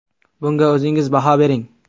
Bunga o‘zingiz baho bering.